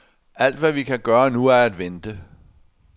Alt hvad vi kan gøre nu er at vente.